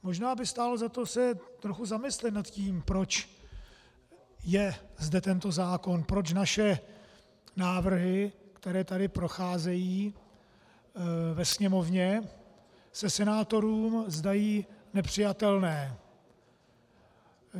Možná by stálo za to se trochu zamyslet nad tím, proč je zde tento zákon, proč naše návrhy, které tady procházejí ve Sněmovně, se senátorům zdají nepřijatelné.